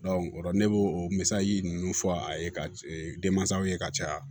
ola ne b'o misali ninnu fɔ a ye ka denmansaw ye ka caya